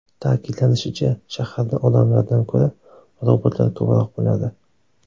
Ta’kidlanishicha, shaharda odamlardan ko‘ra robotlar ko‘proq bo‘ladi.